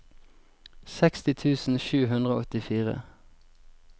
seksti tusen sju hundre og åttifire